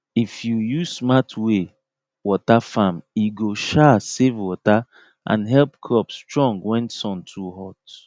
if you use smart way water farm e go um save water and help crop strong when sun too hot